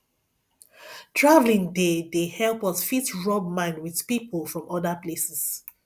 travelling dey dey help us fit rub mind with pipo from other places